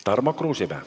Tarmo Kruusimäe.